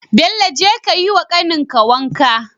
Bello jeka kayi wa kanin ka wanka